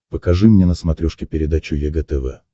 покажи мне на смотрешке передачу егэ тв